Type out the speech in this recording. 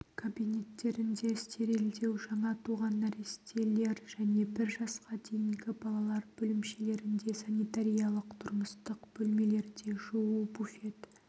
кабинеттерінде стерилдеу жаңа туған нәрестелер және бір жасқа дейінгі балалар бөлімшелерінде санитариялық-тұрмыстық бөлмелерде жуу буфет